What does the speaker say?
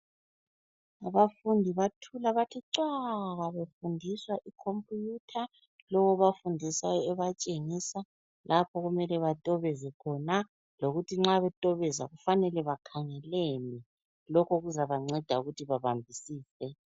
Abafundi bathula bathi cwaka befundiswa ikhompiyutha, lo obafundisayo ebatshengisa lapho okumele batobeze khona lokuthi nxa betobeza kufanele bakhangeleni lokho kuzabanceda ukuthi babambisise.